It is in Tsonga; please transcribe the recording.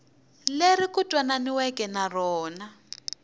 leri ku twananiweke na rona